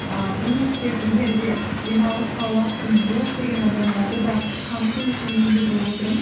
ііі бұны тек егер де демалысқа уақытым жоқ деген адамдарды да қамту үшін енгізіп отырмын